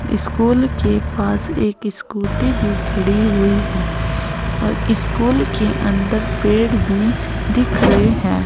School के पास एक स्कूटी भी खड़ी हुई है और स्कूल के अंदर पेड़ भी दिख रहे हैं।